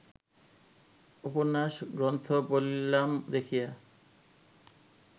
উপন্যাস গ্রন্থ বলিলাম দেখিয়া